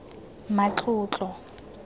matlotlo